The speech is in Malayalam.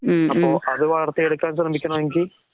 അപ്പൊ അത് വളർത്തിയെടുക്കാൻ ശ്രമിക്കണമെങ്കി